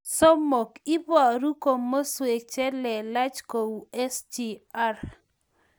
Somok, iboru komaskwek che lelach kou SGR